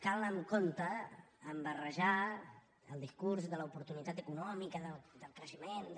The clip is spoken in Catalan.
cal anar amb compte a barrejar el discurs de l’oportunitat econòmica del creixement de